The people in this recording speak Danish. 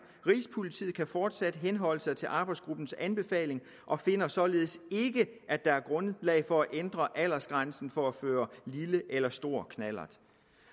rigspolitiet kan fortsat henholde sig til arbejdsgruppens anbefaling og finder således ikke at der er grundlag for at ændre aldersgrænsen for at føre lille eller stor knallert